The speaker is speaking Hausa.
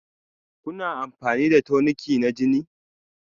Kuna amfani da toniki na jini?